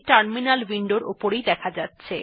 এখন এই ত্রুটি টিও টার্মিনাল উইন্ডোর উপর দেখা যাচ্ছে